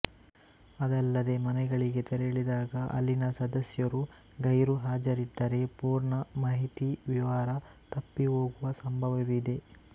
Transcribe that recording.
ಅದಲ್ಲದೇ ಮನೆಗಳಿಗೆ ತೆರಳಿದಾಗ ಅಲ್ಲಿನ ಸದಸ್ಯರು ಗೈರುಹಾಜರಿದ್ದರೆ ಪೂರ್ಣ ಮಾಹಿತಿವಿವರ ತಪ್ಪಿಹೋಗುವ ಸಂಭವವಿದೆ